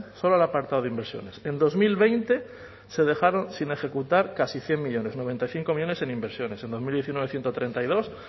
solo al apartado de inversiones en dos mil veinte se dejaron sin ejecutar casi cien millónes noventa y cinco millónes en inversiones en dos mil diecinueve ciento treinta y dos